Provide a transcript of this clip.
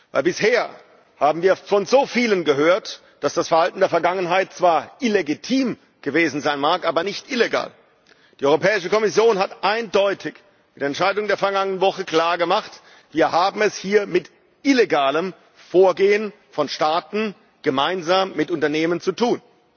Denn bisher haben wir von so vielen gehört, dass das Verhalten der Vergangenheit zwar illegitim gewesen sein mag, aber nicht illegal. Die Europäische Kommission hat mit der Entscheidung der vergangenen Woche eindeutig klargemacht Wir haben es hier mit illegalem Vorgehen von Staaten gemeinsam mit Unternehmen zu tun.